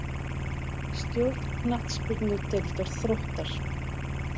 Stjórn Knattspyrnudeildar Þróttar.